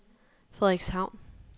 Frederikshavn